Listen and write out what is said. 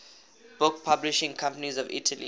book publishing companies of italy